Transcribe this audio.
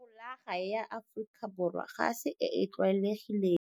Folaga ya Aforika Borwa ga se e e tlwalegileng.